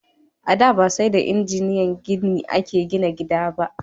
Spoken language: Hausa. A da, ba sai da injiniyan gini a ke gina gida ba